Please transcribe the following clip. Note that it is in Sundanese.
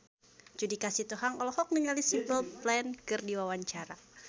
Judika Sitohang olohok ningali Simple Plan keur diwawancara